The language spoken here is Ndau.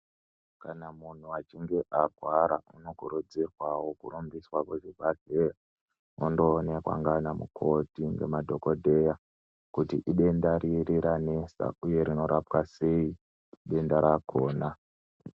Kana munhu achinge arwara anokurudzirwawo kurumbiswa kuchibhahleya ondoonekwa nanamukoti nemadhokodheya kuti idenda riri ranesa uye rinorapwa sei denda rakona.